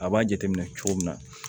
A b'a jateminɛ cogo min na